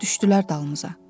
düşdülər dalımızca.